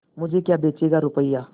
मुझे क्या बेचेगा रुपय्या